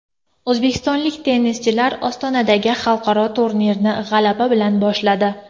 O‘zbekistonlik tennischilar Ostonadagi xalqaro turnirni g‘alaba bilan boshladi.